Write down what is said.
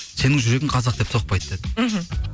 сенің жүрегің қазақ деп соқпайды деді мхм